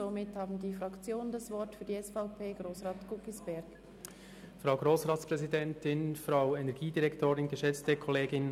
Somit haben die Fraktionen das Wort, zuerst Grossrat Guggisberg für die SVP-Fraktion.